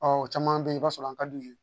Ɔ o caman bɛ yen i b'a sɔrɔ an ka d'u ye